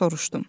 Soruşdum.